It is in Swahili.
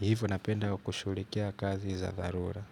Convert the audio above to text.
hivo napenda kushughulikia kazi za dharura.